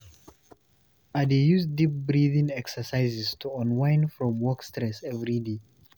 I dey use deep breathing exercises to unwind from work stress every day.